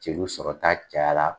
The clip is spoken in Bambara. Jeliw sɔrɔta cayara